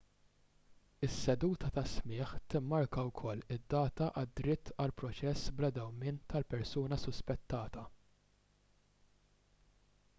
is-seduta ta' smigħ timmarka wkoll id-data għad-dritt għal proċess bla dewmien tal-persuna suspettata